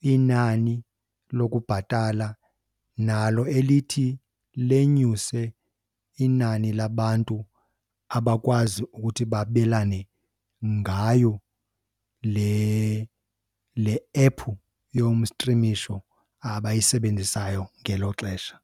inani lokubhatala nalo elithi lenyuse inani labantu abakwazi ukuthi babelane ngayo le le app yomstrimisho abayisebenzisayo ngelo xesha.